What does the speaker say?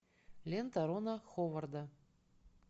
лента рона ховарда